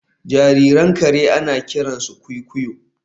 Jaririn kare ana kiransa kwikwiyo